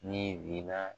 Ni binna